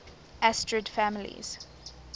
asterid families